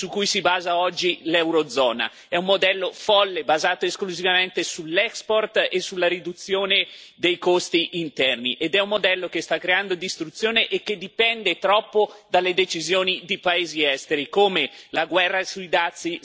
È un modello folle, basato esclusivamente sull'export e sulla riduzione dei costi interni, ed è un modello che sta creando distruzione e che dipende troppo dalle decisioni di paesi esteri, come la guerra sui dazi sta dimostrando in questo momento.